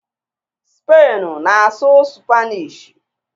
Spainu na-asụ Spanishu